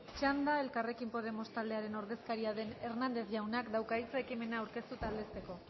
txanda elkarrekin podemos taldearen ordezkaria den hernández jaunak dauka hitza ekimena aurkeztu eta aldezteko